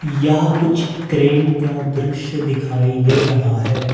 यहां कुछ क्रेन का दृश्य दिखाई दे रहा है।